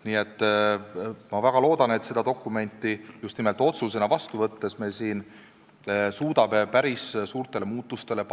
Nii et ma väga loodan, et seda dokumenti just nimelt otsusena vastu võttes me suudame päris suurtele muudatustele